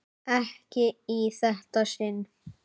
Ekki í þetta sinn.